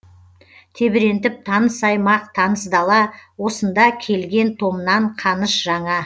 тебірентіп таныс аймақ таныс дала осында келген томнан қаныш жаңа